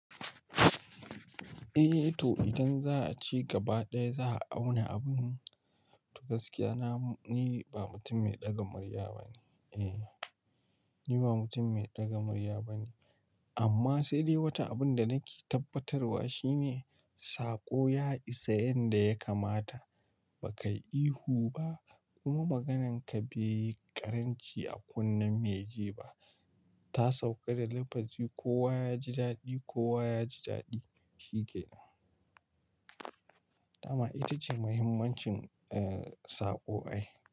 Eh to idan za a ci gaba ɗaya za a auna abun gaskiya. Na, ni ba mutum mai ɗaga murya ba ne. Eh, ni ba mutum mai ɗaga murya ba ne. Amma sai dai wata abun da nake tabbatarwa shine saƙo ya isa yanda ya kamata. Bakai ihu ba kuma magananka bai ƙaranci a kunne mai jefa. Ta sauƙa da lafazi, kowa yaji daɗi, kowa yaji daɗi shikenan amma ita ce muhimmancin, saƙo ai.